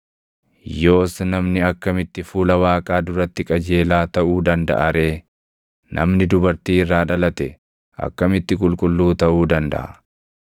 Yoos namni akkamitti fuula Waaqaa duratti qajeelaa taʼuu dandaʼa ree? Namni dubartii irraa dhalate akkamitti qulqulluu taʼuu dandaʼa?